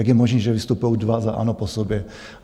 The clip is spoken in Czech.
Jak je možné, že vystupují dva za ANO po sobě?